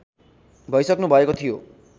भइसक्नुभएको थियो